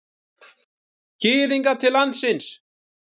Gyðinga til landsins.